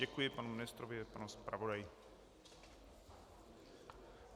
Děkuji panu ministrovi i panu zpravodaji.